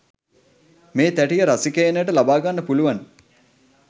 මේ තැටිය රසිකයනට ලබාගන්න පුළුවන්